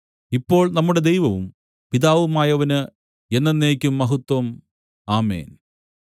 ഇപ്പോൾ നമ്മുടെ ദൈവവും പിതാവുമായവന് എന്നെന്നേക്കും മഹത്വം ആമേൻ